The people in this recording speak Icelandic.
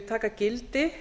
taka gildi